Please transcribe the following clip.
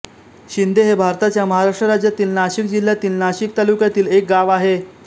शिंदे हे भारताच्या महाराष्ट्र राज्यातील नाशिक जिल्ह्यातील नाशिक तालुक्यातील एक गाव आहे